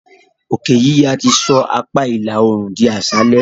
òkè yíya ti sọ apá ìlà oòrùn di aṣálẹ.